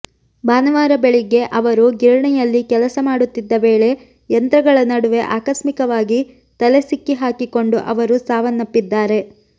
ಭಾನುವಾರ ಬೆಳಿಗ್ಗೆ ಅವರು ಗಿರಣಿಯಲ್ಲಿ ಕೆಲಸ ಮಾಡುತ್ತಿದ್ದ ವೇಳೆ ಯಂತ್ರಗಳ ನಡುವೆ ಆಕಸ್ಮಿಕವಾಗಿ ತಲೆ ಸಿಕ್ಕಿ ಹಾಕಿಕೊಂಡು ಅವರು ಸಾವನ್ನಪ್ಪಿದ್ದಾರೆ